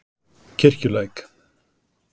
Kirkjulæk